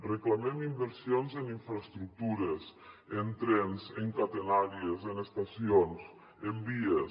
reclamem inversions en infraestructures en trens en catenàries en estacions en vies